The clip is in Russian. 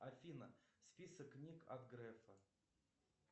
афина список книг от грефа